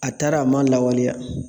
A taara a m'a lawaleya